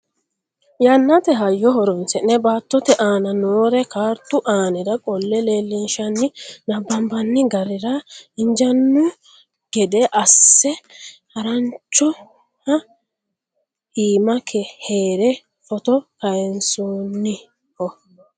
yannate hayyo horonsi'ne baattote aana noore kaartu aanira qolle leellinshanninna nabbanbani garira injaanno gede asse haaranoha iima heere footo kayeesannoho